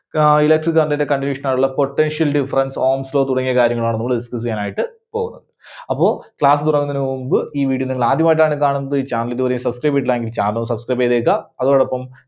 ആഹ് electric current ന്റെ continuation ആയിട്ടുള്ള potential difference ohm's law തുടങ്ങിയ കാര്യങ്ങളാണ് നമ്മള് discuss ചെയ്യാനായിട്ട് പോകുന്നത്. അപ്പോ class തുടങ്ങുന്നതിനു മുൻപ് ഈ video നിങ്ങൾ ആദ്യമായിട്ടാണ് കാണുന്നത്, channel ഇതുവരെ subscribe ചെയ്തിട്ടില്ല എങ്കിൽ channel subscribe ചെയ്തേക്ക. അതോടൊപ്പം